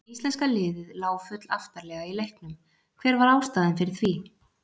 Íslenska liðið lá full aftarlega í leiknum, hver var ástæðan fyrir því?